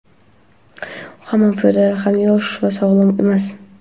Hamma piyodalar ham yosh va sog‘lom emas.